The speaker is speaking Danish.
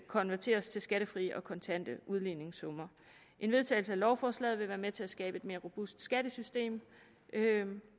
konverteres til skattefrie og kontante udligningssummer en vedtagelse af lovforslaget vil være med til at skabe et mere robust skattesystem